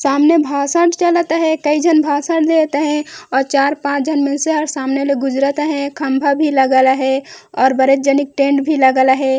सामने भाषण चालत हे कइ झन भाषण देत अहे और चार-पांच मनसे ह सामने गुजरात अहे खम्मा भी लागल अहे और बड़ेक जनिक टेंट भी लगल अहे।